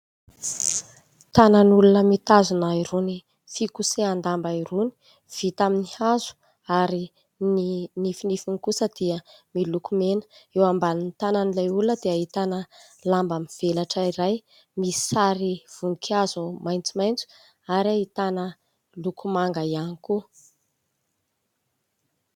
Tanan'olona mitazona irony fikosehan-damba irony vita amin'ny hazo ary ny nfinifiny kosa dia miloko mena. Eo ambanin'ny tanan'ilay olona dia ahitana lamba mivelatra iray misy sary voninkazo maitsomaitso ary ahitana loko manga ihany koa.